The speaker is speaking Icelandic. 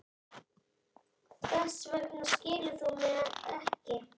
Þess vegna skilur þú mig ekki.